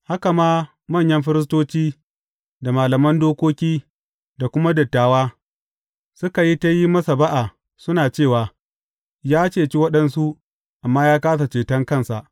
Haka ma, manyan firistoci da malaman dokoki da kuma dattawa, suka yi ta yin masa ba’a, suna cewa, Ya ceci waɗansu, amma ya kāsa ceton kansa!